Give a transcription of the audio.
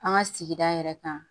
An ka sigida yɛrɛ kan